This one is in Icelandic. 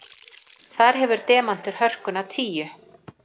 Þar hefur demantur hörkuna tíu.